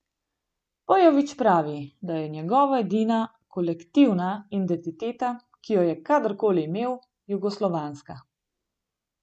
Pejović pravi, da je njegova edina kolektivna identiteta, ki jo je kadar koli imel, jugoslovanska.